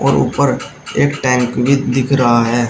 और ऊपर एक टैंक भी दिख रहा है।